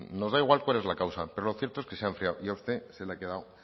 nos da igual cuál es la causa pero lo cierto es que se ha enfriado y a usted se le ha quedado